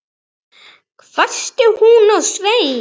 hvæsti hún á Svein